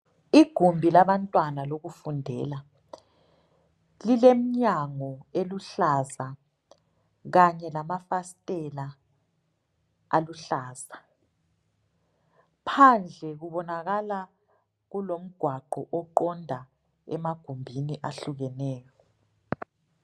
Igumbi labantwana lokufundela lilemnyango eluhlaza kanye lamafasitela aluhlaza phandle kubonakala kulomgwaqo oqonda emagumbini ahlukeneyo.